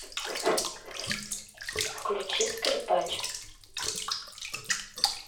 включи скрипач